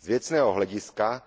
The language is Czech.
Z věcného hlediska